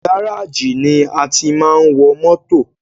Gáràjì ni a tí máa ń wọ mótò.